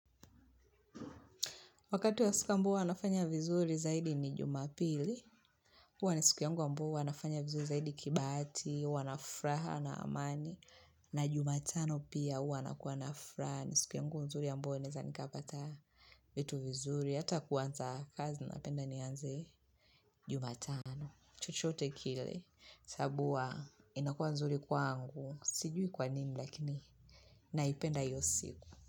Wakati wa siku ambao huwanafanya vizuri zaidi ni jumapili. Kwa nisiku yangu ambao huwanafanya vizuri zaidi kibaati, huwa na fraha na amani. Na jumatano pia huwa nafraha. Ni siku yangu nzuri ambuwa neza nikapata vitu vizuri. Hata kuanza kazi napenda nianze jumatano. Chochote kile. Sabu hua inakua nzuri kwa angu. Sijui kwa nini lakini naipenda hiyo siku.